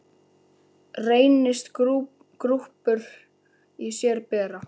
Reynist grúppur í sér bera.